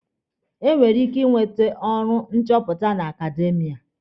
E nwere ike inwete ọrụ nchọpụta na akademiya.